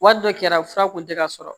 Wari dɔ kɛra fura kun tɛ ka sɔrɔ